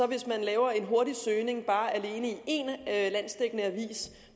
hvis man laver en hurtig søgning alene i en landsdækkende avis